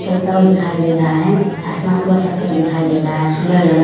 चलता हुआ दिखाई दे रहा है। आसमान पूरा सफेद दिखाई दे रहा है। सुन्दर लग रहा --